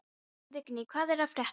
Vigný, hvað er að frétta?